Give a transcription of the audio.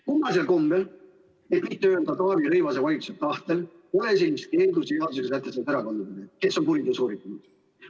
Kummalisel kombel, et mitte öelda Taavi Rõivase valitsuse tahtel, pole sellist keeldu sisaldavat sätet erakonna kohta, kes on kuriteo sooritanud.